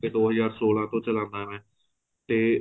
ਕੇ ਦੋ ਹਜ਼ਾਰ ਸੋਲਾਂ ਤੋ ਚਲਾਣਾ ਹਾਂ ਮੈਂ ਤੇ